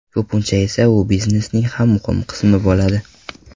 Ko‘pincha esa u biznesning ham muhim qismi bo‘ladi.